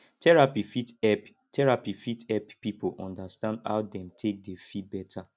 therapy fit help therapy fit help pipo undastand how dem take dey feel beta